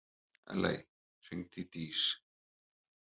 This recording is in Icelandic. Elley, hringdu í Dís.